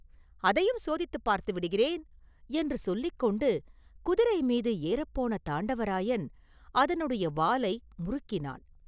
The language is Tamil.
“அதையும் சோதித்துப் பார்த்து விடுகிறேன்” என்று சொல்லிக் கொண்டு குதிரை மீது ஏறப்போன தாண்டவராயன் அதனுடைய வாலை முறுக்கினான்.